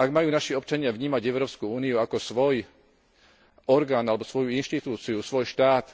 Ak majú naši občania vnímať Európsku úniu ako svoj orgán alebo svoju inštitúciu, svoj štát